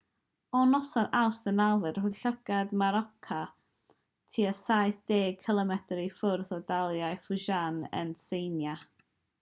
o noson awst 9 roedd llygad morakot tua saith deg cilomedr i ffwrdd o dalaith fujian yn tsieina